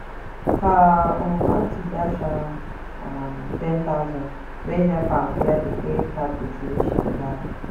her um aunty dash her um ten thousand wey help am clear the credit card gbese wey she never pay